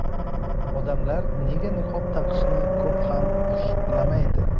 Odamlar nega niqob taqishni ko‘p ham xushlamaydi?.